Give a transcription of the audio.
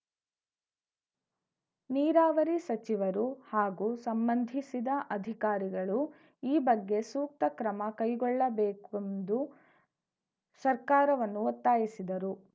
ನಿರಾವರಿ ಸಚಿವರು ಹಾಗೂ ಸಂಬಂಧಿಸಿದ ಅಧಿಕಾರಿಗಳು ಈ ಬಗ್ಗೆ ಸೂಕ್ತ ಕ್ರಮ ಕೈಗೊಳ್ಳಬೇಕೆಂದು ಸರ್ಕಾರವನ್ನು ಒತ್ತಾಯಿಸಿದರು